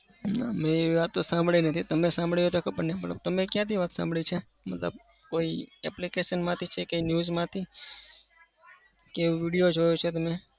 ના. મેં એવી વાતો સાંભળી નથી. તમે સાંભળી હોય તો ખબર નથી પણ તમે ક્યાંથી વાત સાંભળી છે? મતલબ કોઈ application માંથી છે કે news માંથી કે video જોયો છે તમે?